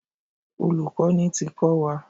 Olùkọ́ni ti kọ́ wa.